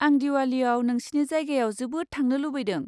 आं दिवालीयाव नोंसिनि जायगायाव जोबोद थांनो लुबैदों।